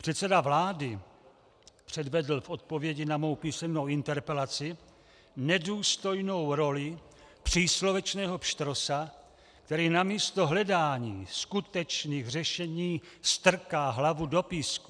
Předseda vlády předvedl v odpovědi na mou písemnou interpelaci nedůstojnou roli příslovečného pštrosa, který namísto hledání skutečných řešení strká hlavu do písmu.